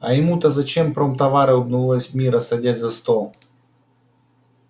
а ему то зачем промтовары улыбнулась мирра садясь за стол